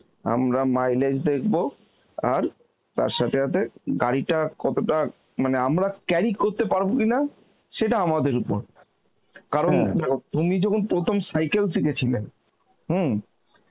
আমরা mileage দেখব আর তার সাথে সাথে গাড়িটা কতটা মানে আমরা গাড়ি করতে পারব কিনা সেটা আমাদের উপর তুমি যখন প্রথম cycle শিখেছিলে, হম